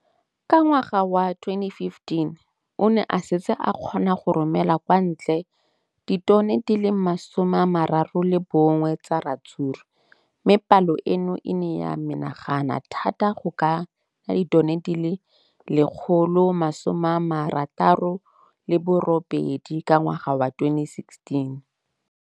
Ka ngwaga wa 2015, o ne a setse a kgona go romela kwa ntle ditone di le 31 tsa ratsuru mme palo eno e ne ya menagana thata go ka nna ditone di le 168 ka ngwaga wa 2016.